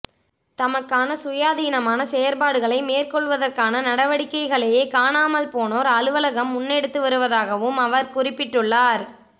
தமக்கான சுயாதீனமான செயற்பாடுகளை மேற்கொள்வதற்கான நடவடிக்கைகளையே காணாமல் போனோர் அலுவலகம் முன்னெடுத்து வருவதாகவும் அவர் குறிப்பிட்டுள்ளார்